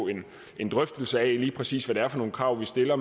en drøftelse af lige præcis hvad det er for nogle krav vi stiller